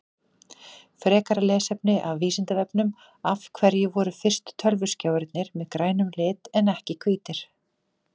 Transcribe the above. Frekara lesefni af Vísindavefnum Af hverju voru fyrstu tölvuskjáirnir með grænum lit en ekki hvítir?